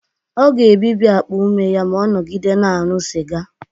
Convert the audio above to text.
Ọ ga-ebibi akpa ume ya ma ọ nọgide na-aṅụ sịga